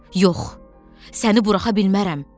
Yox, səni buraxa bilmərəm.